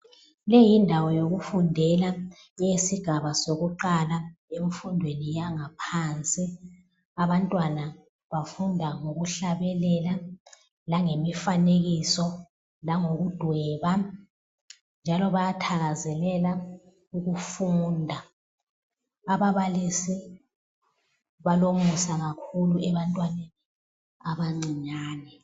Leyi yindawo yokufundela eyesigaba sokuqala emfundweni yangaphansi. Abantwana bafunda ngokuhlabelela langemifanekiso, langokudweba njalo bayathakazelela ukufunda. Ababalisi balomusa kakhulu ebantwaneni abancinyane.